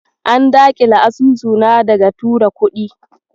An daƙile asusuna daga tura kuɗi.